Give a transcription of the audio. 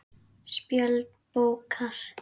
Spjöld bókar